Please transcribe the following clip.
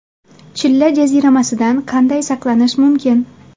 Chilla jaziramasidan qanday saqlanish mumkin?.